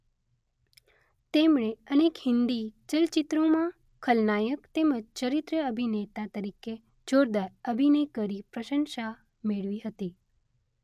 તેમણે અનેક હિંદી ચલચિત્રોમાં ખલનાયક તેમજ ચરિત્ર અભિનેતા તરીકે જોરદાર અભિનય કરી પ્રશંસા મેળવી હતી.